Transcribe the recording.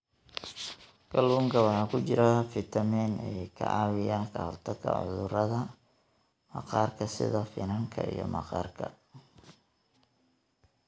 Kalluunka waxaa ku jira fiitamiin e ka caawiya ka hortagga cudurrada maqaarka sida finanka iyo maqaarka.